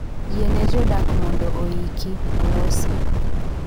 Yie ne jodak mondo oiki, olosi.